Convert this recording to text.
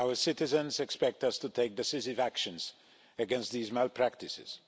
Our citizens expect us to take decisive actions against these malpractices.